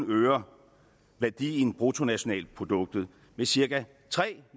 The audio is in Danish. øger værdien af bruttonationalproduktet med cirka tre